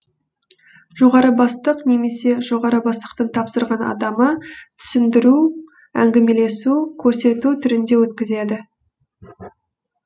жоғары бастық немесе жоғары бастықтың тапсырған адамы түсіндіру әңгімелесу көрсету түрінде өткізеді